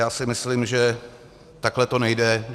Já si myslím, že takhle to nejde.